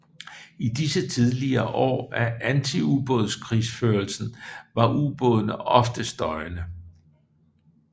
I disse tidlige år af antiubådskrigsførelsen var ubådene ofte støjende